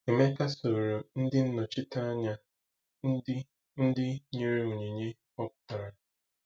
Emeka soro ndị nnọchiteanya ndị ndị nyere onyinye họpụtara.